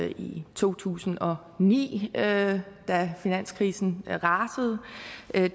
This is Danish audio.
i to tusind og ni da finanskrisen rasede